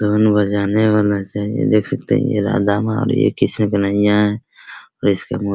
धुन बजाने वाला चाहिए देख सकते है ये राधा-माँ और ये कृष्ण कन्हैया हैं और इसके मु --